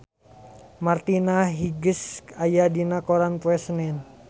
Martina Hingis aya dina koran poe Senen